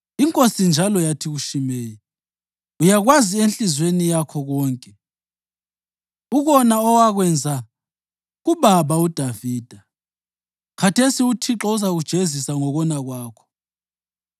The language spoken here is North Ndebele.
Inkosi njalo yathi kuShimeyi, “Uyakwazi enhliziyweni yakho konke ukona owakwenza kubaba uDavida. Khathesi uThixo uzakujezisa ngokona kwakho.